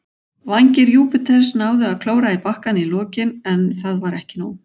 Vængir Júpiters náðu að klóra í bakkann í lokin, en það var ekki nóg.